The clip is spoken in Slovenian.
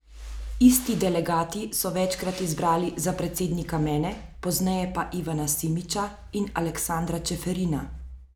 Isti delegati so večkrat izbrali za predsednika mene, pozneje pa Ivana Simiča in Aleksandra Čeferina!